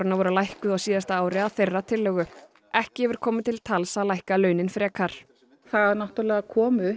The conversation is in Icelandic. voru lækkuð á síðasta ári að þeirra tillögu ekki hefur komið til tals að lækka launin frekar það kom upp